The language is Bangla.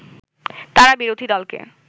তারা বিরোধী দলকে